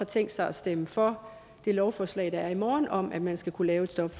tænkt sig at stemme for det lovforslag der er i morgen om at man skal kunne lave et stop